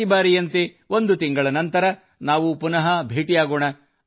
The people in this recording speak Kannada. ಪ್ರತಿಬಾರಿಯಂತೆ ಒಂದು ತಿಂಗಳ ನಂತರ ನಾವು ಪುನಃ ಭೇಟಿಯಾಗೋಣ